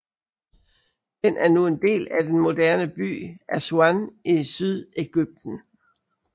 Den er nu en del af den moderne by Aswan i Sydegypten